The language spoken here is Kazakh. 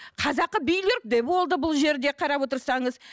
қазақы билер де болды бұл жерде қарап отырсаңыз